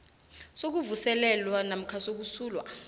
sokuvuselelwa namkha sokusulwa